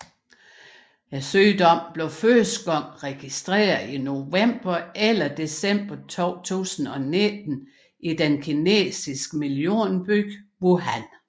Sygdommen blev første gang registreret i november eller december 2019 i den kinesiske millionby Wuhan